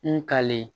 N kalen